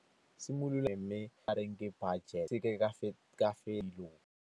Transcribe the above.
.